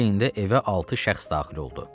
Bu heyn də evə altı şəxs daxil oldu.